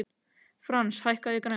Frans, hækkaðu í græjunum.